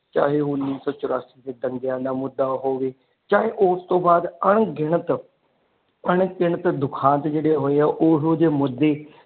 ਚਾਹੇ ਉਹ ਉਨੀਸੌ ਚੁਰਸੀ ਦੇ ਦੰਗਿਆ ਦਾ ਮੁਦਾ ਹੋਵੇ ਚਾਹੇ ਉਸਤੋਂ ਬਾਅਦ ਅਣਗਿਣਤ ਅਣਗਿਣਤ ਦੁਖਾਂਤ ਜਿਹੜੇ ਹੋਏ ਉਹੋ ਜੇ ਮੁਦੇ।